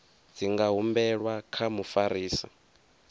dzi nga humbelwa kha mufarisa